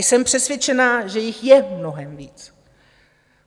Jsem přesvědčená, že jich je mnohem víc.